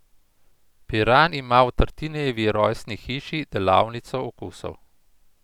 Piran ima v Tartinijevi rojstni hiši delavnico okusov.